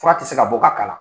Fura tɛ se ka bɔ ka k'a la.